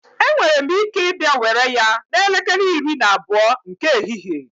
Enwere m ike ịbịa were ya n'elekere iri na abụọ nke ehihie